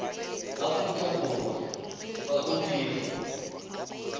aforika borwa fa o dirwa